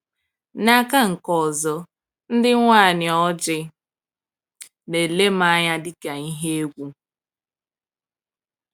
N'aka nke ọzọ, ndị nwanyị ojii na-ele m anya dị ka ihe egwu.